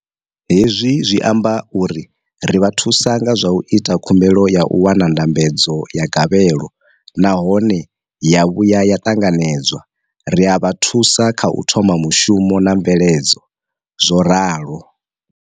Hezwi zwi amba uri ri vha thusa nga zwa u ita khumbelo ya u wana ndambedzo ya gavhelo nahone ya vhuya ya ṱanganedzwa, ri a vha thusa kha u thoma mushumo na mveledzo zwo ralo.